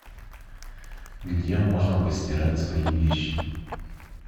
где можно постирать свои вещи